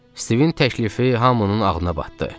Stivin təklifi hamının ağlına batdı.